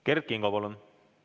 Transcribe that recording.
Kert Kingo, palun!